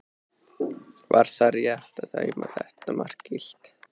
Var það rétt að dæma þetta mark gilt?